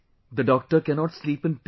the doctor cannot sleep in peace